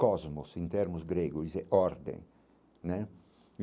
Cosmos, em termos grego, isso é ordem né.